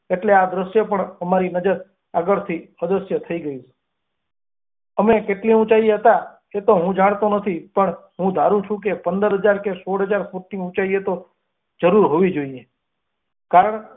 એટલે આ દશ્ય પણ અમારી નજર આગળથી અદશ્ય થઈ ગયું અમે કેટલી ઊંચાઈએ હતા એ ની હું જાણતી નથી પત્ર હું પરું છે કે પંદર હાજર કે સોલ હજાર ફૂટની ઊંચાઈ તો જરૂર હોવી જ જોઈએ.